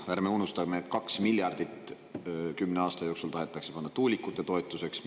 Ärme unustame, et 2 miljardit tahetakse kümne aasta jooksul anda tuulikute toetuseks.